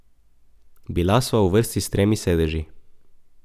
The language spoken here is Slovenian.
Bila sva v vrsti s tremi sedeži.